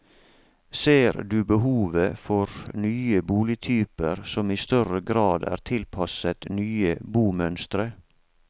Ser du behovet for nye boligtyper som i større grad er tilpasset nye bomønstre?